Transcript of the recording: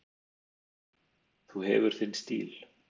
Þú hefur þinn stíl.